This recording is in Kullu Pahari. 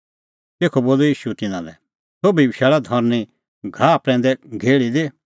तेखअ बोलअ ईशू तिन्नां लै सोभी बशैल़ा धरनीं हरी घाहा प्रैंदै घेहल़ी दी